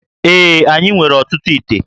Ee, anyị nwere ọtụtụ íté